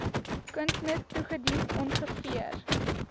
kunsmis toegedien ongeveer